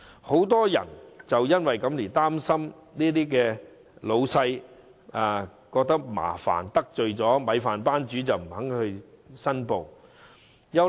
很多申請人怕令老闆感到麻煩，怕得罪"米飯班主"，所以不願意申報。